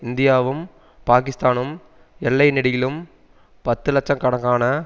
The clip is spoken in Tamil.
இந்தியாவும் பாக்கிஸ்தானும் எல்லை நெடுகிலும் பத்து லட்ச கணக்கான